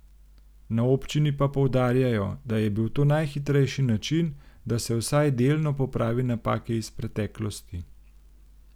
Na občini pa poudarjajo, da je bil to najhitrejši način, da se vsaj delno popravi napake iz preteklosti.